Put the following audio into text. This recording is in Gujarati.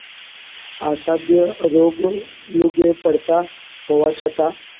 અસાધ્ય રોગો પડતા હોવા છતાં